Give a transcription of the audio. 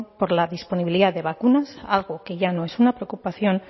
por la disponibilidad de vacunas algo que ya no es una preocupación